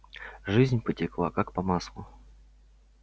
жизнь потекла как по маслу